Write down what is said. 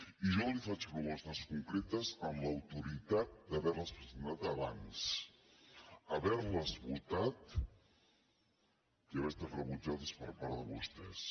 i jo li faig propostes concretes amb l’autoritat d’haver les presentat abans haver les votat i haver estat rebutjades per part de vostès